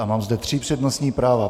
A mám zde tři přednostní práva.